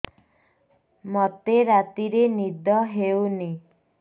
ମୋତେ ରାତିରେ ନିଦ ହେଉନି